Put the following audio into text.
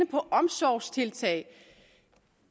på omsorgstiltag